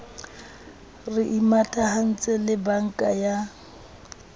re imatahantse le banka ya